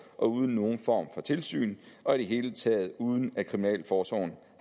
og uden nogen form for tilsyn og i det hele taget uden at kriminalforsorgen